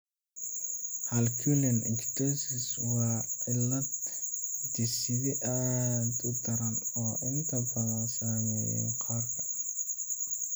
Harlequin ichthyosis waa cillad hidde-side aad u daran oo inta badan saameeya maqaarka.